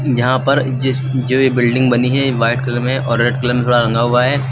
यहां पर जिस जो ये बिल्डिंग बनी है ये वाइट कलर में और रेड कलर थोड़ा रंगा हुआ है।